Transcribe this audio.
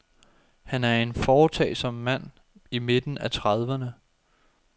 Han er en foretagsom mand i midten af trediverne.